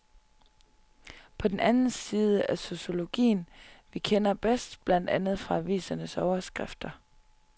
Det er den side af sociologien, vi kender bedst, blandt andet fra avisernes overskrifter.